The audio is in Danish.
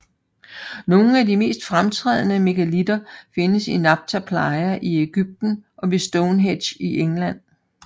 Nogle af de mest fremtrædende megalitter findes i Nabta Playa i Egypten og ved Stonehenge i England